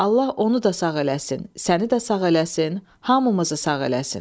Allah onu da sağ eləsin, səni də sağ eləsin, hamımızı sağ eləsin.